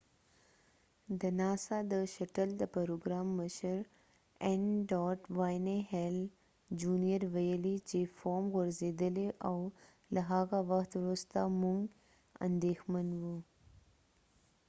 د ناسا د شټل د پروګرام مشر n.wayne hale jr. ویلي چې فوم غورځیدلی او له هغه وخت وروسته موږ اندیښمن یو